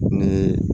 Ne